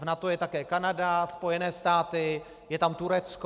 V NATO je také Kanada, Spojené státy, je tam Turecko.